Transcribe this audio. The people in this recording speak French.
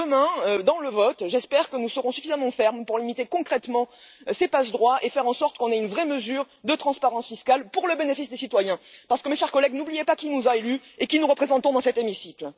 Demain, lors du vote, j'espère que nous serons suffisamment fermes pour limiter concrètement ces passe droits et faire en sorte d'adopter une vraie mesure de transparence fiscale au bénéfice des citoyens, parce que, mes chers collègues, n'oubliez pas qui nous a élus et qui nous représentons dans cet hémicycle.